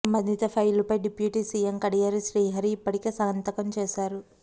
సంబంధిత ఫైలుపై deputy CM Kadiyam Srihari ఇప్పటికే సంతకం చేశారు